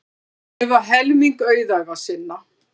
Gefa helming auðæfa sinna